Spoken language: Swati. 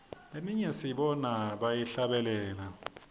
leminye sibona bayihlabelela